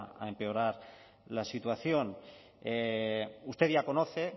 a empeorar la situación usted ya conoce